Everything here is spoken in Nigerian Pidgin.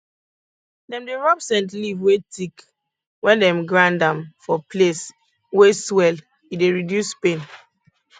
dem dey rub scent leaf wey thick wen dem grind am for place wey swell e dey reduce pain